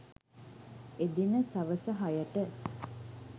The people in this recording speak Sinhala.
එදින සවස හයට